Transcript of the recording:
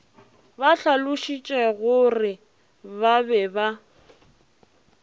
ba hlalošitšegore ba be ba